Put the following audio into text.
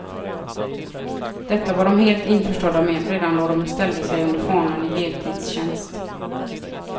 Detta var de helt införstådda med, redan då de ställde sig under fanan i heltidstjänst.